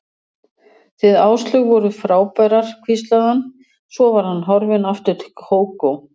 Þið Áslaug voruð frábærar hvíslaði hann, svo var hann horfinn aftur til Kókó.